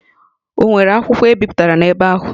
Ọ nwere akwụkwọ e bipụtara n'ebe ahụ?